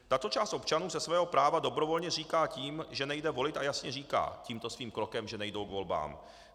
Tato část občanů se svého práva dobrovolně zříká tím, že nejde volit, a jasně říkají tímto svým krokem, že nejdou k volbám.